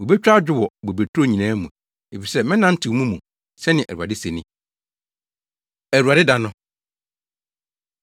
Wobetwa adwo wɔ bobeturo nyinaa mu, efisɛ mɛnantew mo mu,” sɛnea Awurade se ni. Awurade Da No